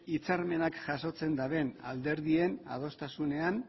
hitzarmenak jasotzen duten alderdien adostasunean